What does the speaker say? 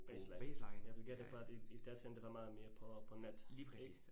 Baseline. Jeg vil gætte på, at i i datiden, det var meget mere på på net ik?